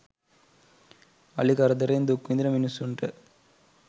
අලි කරදරෙන් දුක් විඳින මිනිස්සුන්ට